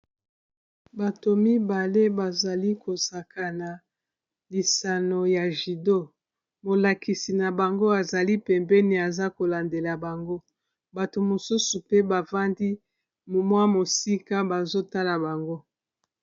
Bato mibale bazali kosaka na lisano ya judo molakisi na bango azali pembeni aza kolandela bango bato mosusu pe bafandi mwa mosika bazotala bango.